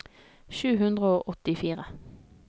sju hundre og åttifire